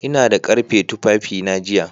Ina da ƙarfe tufafina jiya